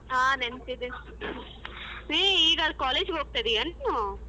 ಹಾ ನೆನ್ಪಿದೆ ಏ ಈಗ college ಹೋಗ್ತಿದೀಯಾ ನೀನೂ?